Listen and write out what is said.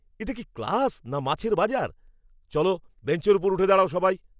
এটা কি ক্লাস না মাছের বাজার? চলো, বেঞ্চের ওপর উঠে দাঁড়াও সবাই!